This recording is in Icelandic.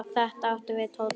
Þetta átti við Tóta.